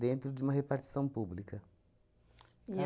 dentro de uma repartição pública. E